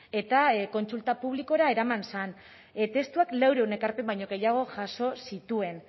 eta kontsulta publikora eraman zen testuak laurehun ekarpen baino gehiago jaso zituen